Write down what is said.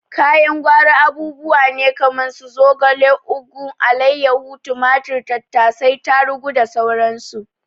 Kayan gwari abubuwa ne kaman su zogale, ugu, alaiyahu, tumatur, tattasai, tarugu da sauran su.